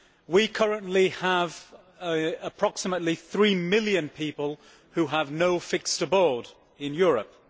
We currently have approximately 3 million people who have no fixed abode in Europe.